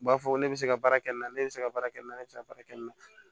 U b'a fɔ ko ne bɛ se ka baara kɛ nin na ne bɛ se ka baara kɛ n na ne bɛ se ka baara kɛ nin na